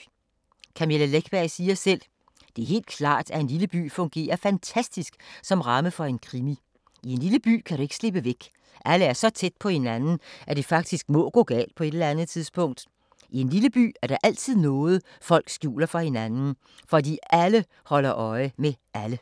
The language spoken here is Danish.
Camilla Läckberg siger selv: ”Det er helt klart, at en lille by fungerer fantastisk som ramme for en krimi. I en lille by kan du ikke slippe væk, alle er så tæt på hinanden, at det faktisk må gå galt på et eller andet tidspunkt. I en lille by er der altid noget, folk skjuler for hinanden, fordi alle holder øje med alle.”